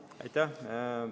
Aitäh!